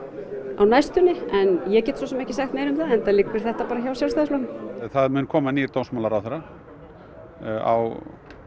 á næstunni en ég get svo sem ekki sagt meira um það enda liggur þetta hjá Sjálfstæðisflokknum það mun koma nýr dómsmálaráðherra á